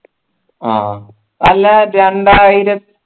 ആഹ് അല്ല രണ്ടായി